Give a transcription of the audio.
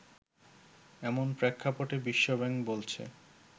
এমন প্রেক্ষাপটে বিশ্বব্যাংক বলছে